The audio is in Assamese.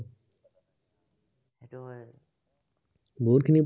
বহুতখিনি